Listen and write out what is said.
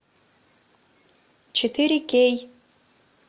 четыре кей